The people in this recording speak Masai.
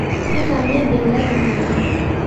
Ketamade ele tungana